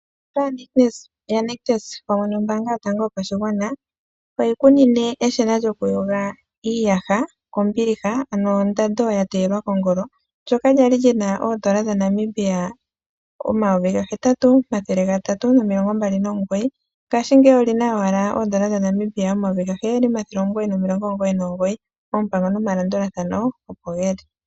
Ositola yaNictus pamwe nombaanga yotango yopashigwana oyi ku nine eshina lyokuyoga iiyaha kombiliha, ano ondando ya teyelwa kongokongolo. Ano ndyoka lya li li na ooN$ 8 329, ngaashingeyi oli na owala ooN$ 7 999. Oompango nomalandulathano opo ge li.